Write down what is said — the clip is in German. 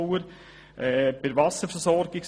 Planungserklärung 6 zur Wasserversorgung: